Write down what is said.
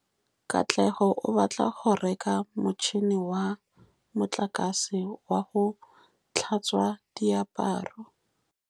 Katlego o batla go reka motšhine wa motlakase wa go tlhatswa diaparo.